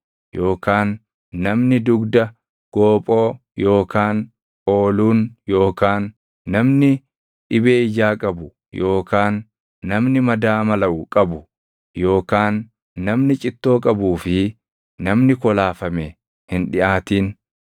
yookaan namni dugda goophoo yookaan ooluun yookaan namni dhibee ijaa qabu yookaan namni madaa malaʼu qabu, yookaan namni cittoo qabuu fi namni kolaafame hin dhiʼaatin.